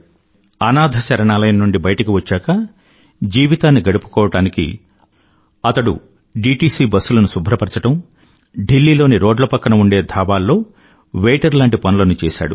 అనాథశరణాలయం నుండి బయటకు వచ్చాకా జీవితాన్ని గడుపుకోవడానికి అతడు డీటీసీ బస్సులను శుభ్రపరచడం ఢిల్లీ లోని రోడ్ల పక్కన ఉండే ధాబాల్లో వెయిటర్ లాంటి పనులను చేశాడు